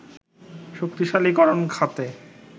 শক্তিশালীকরণ খাতে